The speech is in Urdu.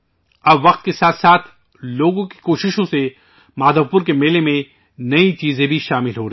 وقت کے ساتھ ساتھ اب لوگوں کی کوششوں سے مادھو پور میلے میں نئی چیزیں بھی شامل ہو رہی ہیں